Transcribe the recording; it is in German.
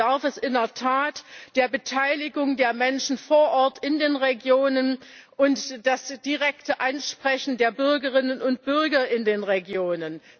Dazu bedarf es in der Tat der Beteiligung der Menschen vor Ort in den Regionen und des direkten Ansprechens der Bürgerinnen und Bürger in den Regionen.